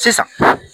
Sisan